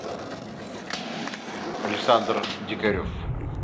александр дикарев